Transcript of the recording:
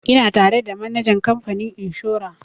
Ina tare da manajan kamfanin inshora